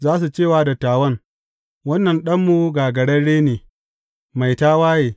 Za su ce wa dattawan, Wannan ɗanmu gagararre ne, mai tawaye.